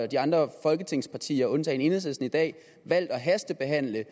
de andre folketingspartier undtagen enhedslisten i dag valgt at hastebehandle et